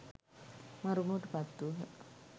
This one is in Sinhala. මරුමුවට පත් වූහ.